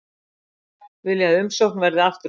Vilja að umsókn verði afturkölluð